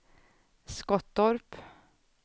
Skottorp